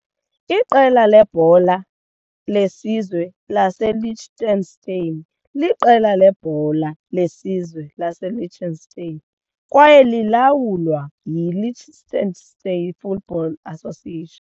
Iqela lebhola lebhola lebhola lesizwe laseLiechtenstein liqela lebhola lebhola lebhola lesizwe laseLiechtenstein kwaye lilawulwa yi-Liechtenstein Football Association.